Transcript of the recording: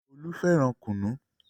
Olú fẹ́ràn kùnú.